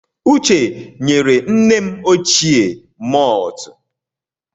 Uche nyere nne m ochie maltụ.